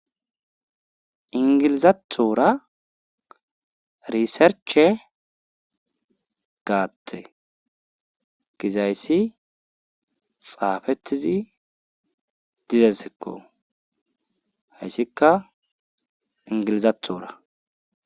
Englizathora research gate gizaysi xafetidi dizaysako haysika engilizathora